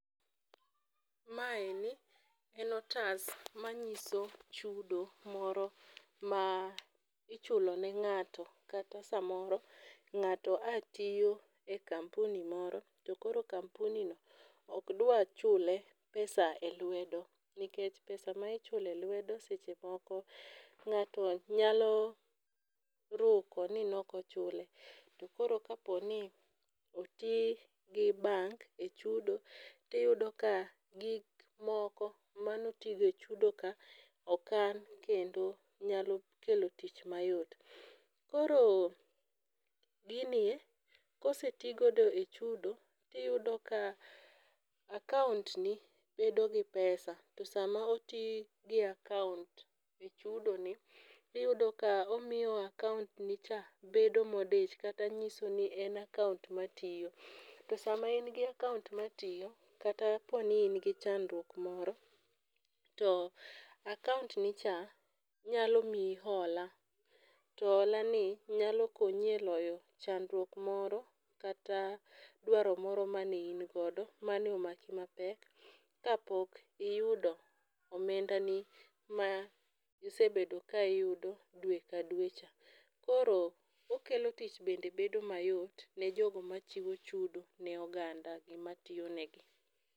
Maeni en otas manyiso chudo moro ma ichulone ng'ato kata samoro ng'ato a tiyo e kampuni moro to koro kampuni no okdwachule pesa e lwedo nikech pesa ma ichulo e lwedo sechemoko ng'ato nyalo ruko ni nokochule to koro kaponi otii gi bank e chudo tiyudo ka gik moko manotigo e chudo ka okan kendo nyalo kelo tich mayot. Koro ginie kosetigodo e chudo tiyudo ka akaontni bedogi pesa to sama otii gi akaont e chudoni iyudo ka omiyo akaont ni cha bedo modich kata nyisoni en akaont matiyo. To sama engi akaont matiyo kata pooni ingi chandruok moro to akaontnicha nyalo mii hola to holani nyalo konyi e loyo chandruok moro kata dwaro moro mane in godo manomaki mapek ka pok iyudo omendani ma isebedo ka iyudo due ka due cha. Koro okelo tich bende bedo mayot ne jogo machiwo chudo ne oganda ematiyonegi.